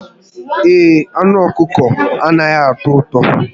Ee, anụ ọkụkọ anataghi atọ ụtọ